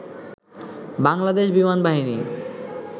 বাংলাদেশ বিমানবাহিনী